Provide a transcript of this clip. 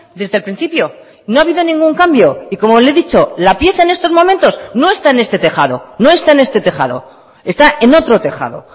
desde el principio no ha habido ningún cambio y como le he dicho la pieza en estos momentos no está en este tejado no está en este tejado está en otro tejado